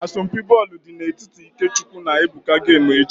Asọmpi bọọlụ dị n'etiti IkeChukwu na Ebuka ga-eme echi